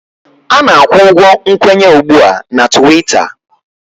A na-akwụ ụgwọ nkwenye ugbu a na Twiita